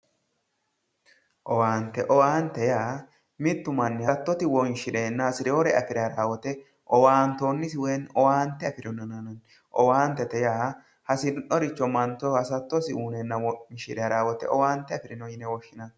Owaanite owaanite yaa mittu manni halichosi wonishireena hasirewore afirawo wote owaanitoonisi woyimi owaanite afirino yinanni owaanitete yaa hasi'noricho manicho hasattosi uyineena hasattosi afire haranno woyite owaanite afirino yinanni